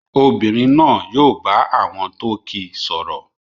Obìnrin náà yóò bá àwọn tó kíi sọ̀rọ̀